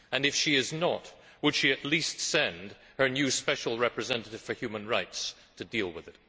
And if she is not, would she at least send her new special representative for human rights to deal with it?